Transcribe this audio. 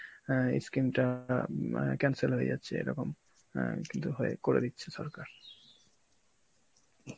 অ্যাঁ এই scheme টা আম আঁ cancel হয়ে যাচ্ছে এরকম অ্যাঁ কিন্তু হয়~ করে দিচ্ছে সরকার.